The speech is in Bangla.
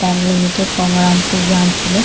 ব্যাঙ্ক লিমিটেড গঙ্গারামপুর ব্রাঞ্চ বলে।